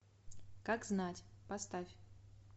как знать поставь